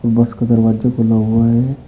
बस का दरवाज़ा खुला हुआ है।